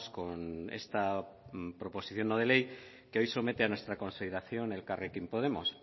con esta proposición no de ley que hoy somete a nuestra consideración elkarrekin podemos